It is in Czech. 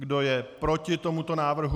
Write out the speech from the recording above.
Kdo je proti tomuto návrhu?